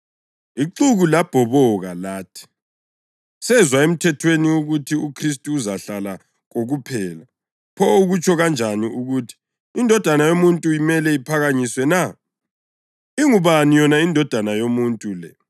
Ixuku labhoboka lathi, “Sezwa eMthethweni ukuthi uKhristu uzahlala kokuphela, pho ukutsho kanjani ukuthi, ‘INdodana yoMuntu imele iphakanyiswe na’? Ingubani yona ‘iNdodana yoMuntu’ le?”